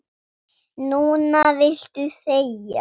Núna viltu þegja.